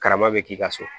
Karamɔgɔ bɛ k'i ka so